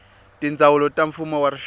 tindzawulo ta mfumo wa rixaka